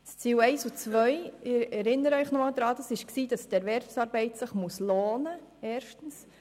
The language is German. Ziel Nummer 1 bestand darin, dass sich Erwerbsarbeit lohnen muss.